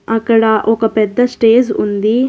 అక్కడ ఒక పెద్ద స్టేజ్ ఉంది.